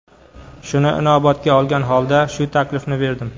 Shuni inobatga olgan holda shu taklifni berdim.